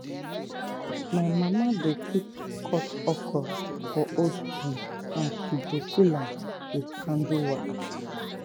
my mama dey keep cut okra for old tin and she go seal am with candle water.